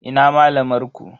Ina malamar ku?